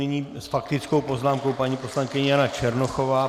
Nyní s faktickou poznámkou paní poslankyně Jana Černochová.